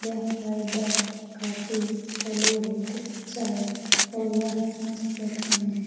यह हवाई अड्डा काफी इसका बहुत ही अच्छा है और यह मस्त देखने में है।